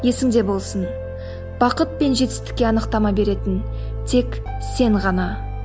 есіңде болсын бақыт пен жетістікке анықтама беретін тек сен ғана